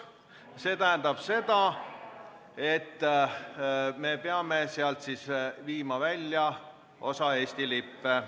See tähendab seda, et me peame sealt osa Eesti lippe välja viima.